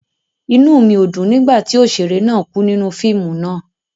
Inú mi o dùn nigbati oṣere náà ku nínú fíìmù náà